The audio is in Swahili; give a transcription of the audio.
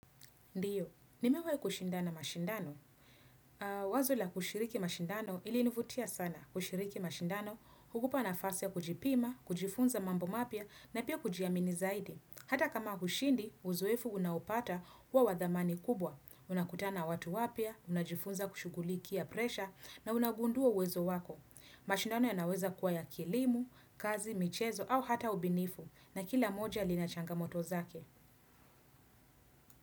Ndiyo, nimewahi kushindana mashindano. Wazo la kushiriki mashindano ili nivutia sana kushiriki mashindano, hukupa na fasi ya kujipima, kujifunza mambo mapya, na pia kujiamini zaidi. Hata kama hushindi, uzoefu unaupata wa wadhamani kubwa. Unakutana watu wapya, unajifunza kushughulikia presha, na unagundua wezo wako. Mashindano ya naweza kuwa ya kielimu, kazi, michezo, au hata ubinifu, na kila mmoja linachanga moto zake.